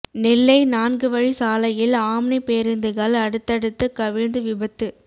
நெல்லை நான்கு வழி சாலையில் ஆம்னி பேருந்துகள் அடுத்தடுத்து கவிழ்ந்து விபத்து